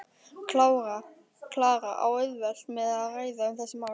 Klara á auðvelt með að ræða um þessi mál.